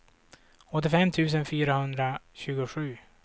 åttiofem tusen fyrahundratjugosju